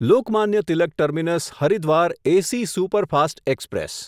Lokmanya Tilak terminus Haridwar AC superfast express